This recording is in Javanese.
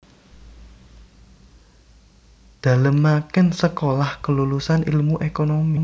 Dalemaken Sekolah Kelulusan Ilmu Ekonomi